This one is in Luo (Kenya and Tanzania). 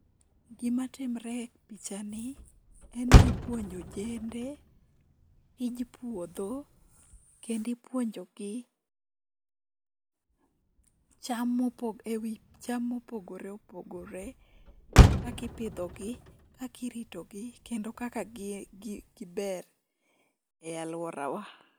Gimatimre e pichani en ni ipuonjo ojende tij puodho kendo ipuonjogi e wi cham mopogore opogore kaka ipidhogi, kaka iritogi kendo kaka giber e alworawa.